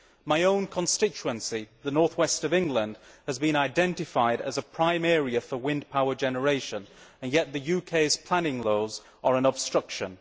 My own constituency, the North West of England, has been identified as a prime area for wind power generation, and yet the UK's planning laws are an obstruction.